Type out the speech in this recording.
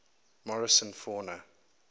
morrison fauna